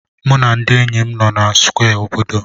Mụ na ndị enyi m nọ na Square obodo.